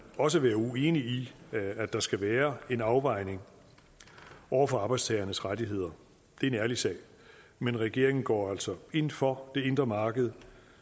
også være uenig i at der skal være en afvejning over for arbejdstagernes rettigheder det er en ærlig sag men regeringen går altså ind for det indre marked